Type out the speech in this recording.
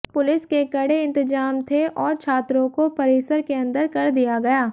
police के कड़े इंतजाम थे और छात्रों को परिसर के अंदर कर दिया गया